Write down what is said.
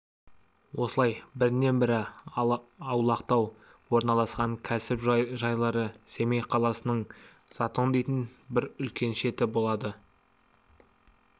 осылай бірінен-бірі аулақтау орналасқан кәсіп жайлары семей қаласының затон дейтін бір үлкен шеті болады